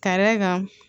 Ka d'a kan